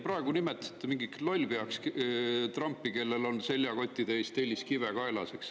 Praegu nimetasite Trumpi mingiks lollpeaks, kellel on seljakotitäis telliskive kaelas.